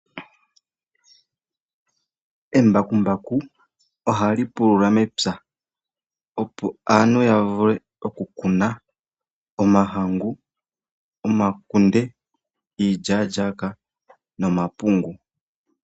Embakumbaku ohali pulula mepya opo aantu ya vule okukuna omahangu, omakunde, iilyaalyaaka nomapungu.